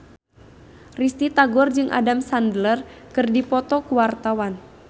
Risty Tagor jeung Adam Sandler keur dipoto ku wartawan